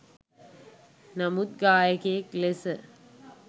නමුත් ගායකයෙක් ලෙස